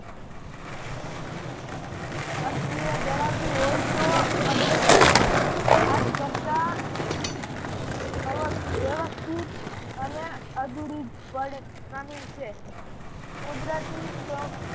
અસ્થીર્ય ધરાવતી હોય તો આજ આજ કરતા અવ વ્યવસ્થિત અને અધુરીક વડે પ્રામીણ છે. કુદરતી